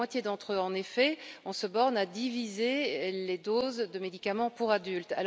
Pour la moitié d'entre eux, en effet, on se borne à diviser les doses de médicaments pour adultes!